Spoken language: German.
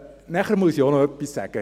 Dann muss ich noch etwas sagen: